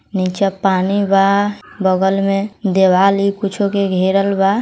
नीचे पानी बा बगल में दीवाल ई कुछो के घेरल बा।